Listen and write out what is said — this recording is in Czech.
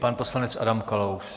Pan poslanec Adam Kalous.